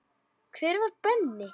Hver var Benni?